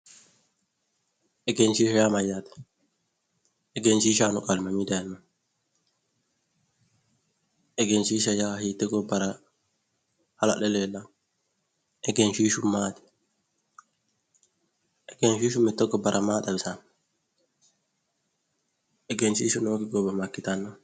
egenshiishsha yaa mayyaate? egenshiishsha yaanno qaali mamiinni dayiinaoho egenshiishsha yaa hiittee gobbara hala'le leellanno? egenshiishshu maati? egenshiishsha mitte gobbara maa xawisanno? egenshiishshu nookki gobba makkitanno.